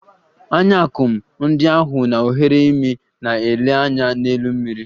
Anya akum ndị ahụ na oghere imi na - ele anya n'elu mmiri.